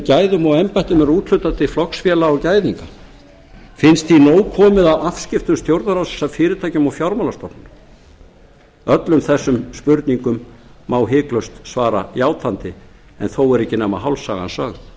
gæðum og embættum ríkisins er úthlutað til flokksfélaga og gæðinga finnst því nóg komið af afskiptum stjórnarráðsins af fyrirtækjum og fjármálastofnunum landsmanna öllum þessum spurningum má hiklaust svara játandi en þó er ekki nema hálf sagan sögð